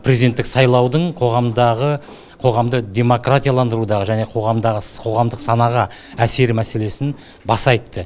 президенттік сайлаудың қоғамды демократияландырудағы және қоғамдағы қоғамдық санаға әсері мәселесін баса айтты